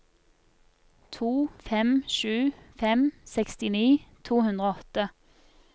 to fem sju fem sekstini to hundre og åtte